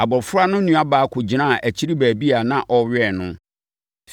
Abɔfra no nuabaa kɔgyinaa akyiri baabi a na ɔwɛn no.